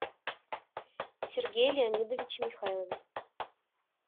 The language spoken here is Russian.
сергее леонидовиче михайлове